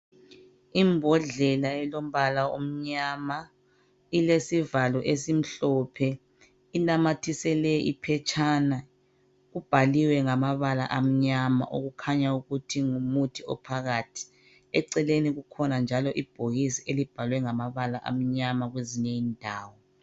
Imbodlela elombala omnyama ilesivalo esimhlophe inamathiselwe iphetshana. Kubhaliwe ngabala amanyama okukhanya ukuthi ngumuthi ophakathi. Eceleni kukhona njalo ibhokisi elibhalwe ngamabala amnyama kwezinye indawo.